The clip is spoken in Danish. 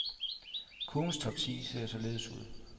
Kurvens top ti ser således ud.